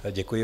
Děkuji.